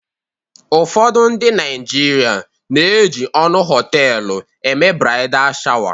ụfọdụ ndị Naijiria na-eji ọnụ họtelu eme bradai shawa